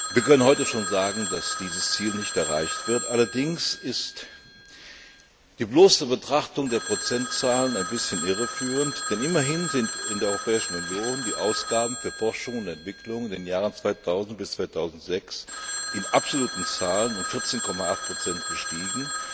Wir können heute schon sagen, dass dieses Ziel nicht erreicht wird. Allerdings ist die bloße Betrachtung der Prozentzahlen ein bisschen irreführend, denn immerhin sind in der Europäischen Union die Ausgaben für Forschung und Entwicklung in den Jahren 2000 bis 2006 in absoluten Zahlen um 14,8 gestiegen.